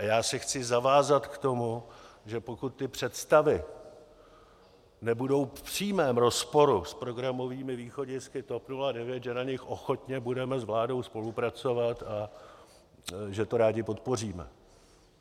A já se chci zavázat k tomu, že pokud ty představy nebudou v přímém rozporu s programovými východisky TOP 09, že na nich ochotně budeme s vládou spolupracovat a že to rádi podpoříme.